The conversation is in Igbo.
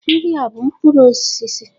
Ndị a bụ mkpụrụ osisi?